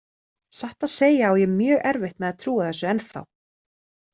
Satt að segja á ég mjög erfitt með að trúa þessu ennþá.